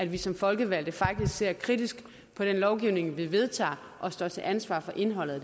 vi som folkevalgte faktisk ser kritisk på den lovgivning vi vedtager og står til ansvar for indholdet